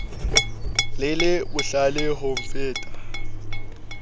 le le bohlale ho mpheta